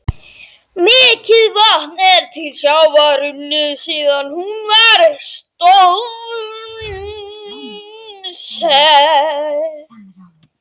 Mikið vatn er til sjávar runnið síðan hún var stofnsett.